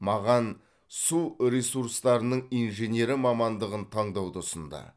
маған су ресурстарының инженері мамандығын таңдауды ұсынды